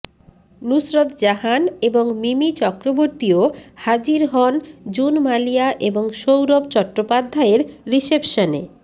নুসরত জাহান এবং মিমি চক্রবর্তীও হাজির হন জুন মালিয়া এবং সৌরভ চট্টোপাধ্যায়ের রিসেপশনে